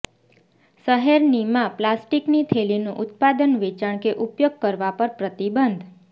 શહેરનીમાં પ્લાસ્ટિકની થેલીનું ઉત્પાદન વેચાણ કે ઉપયોગ કરવા પર પ્રતિબંધ